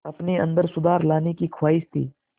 अपने अंदर सुधार लाने की ख़्वाहिश थी